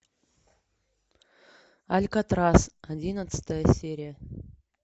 алькатрас одиннадцатая серия